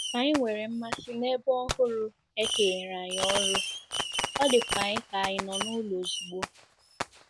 Anyị nwere mmasị n'ebe ọhụrụ e kenyere anyị ọrụ, ọ dịkwa anyị ka anyị nọ n'ụlọ ozugbo.